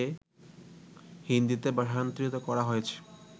হিন্দীতে ভাষান্তরিত করা হয়েছে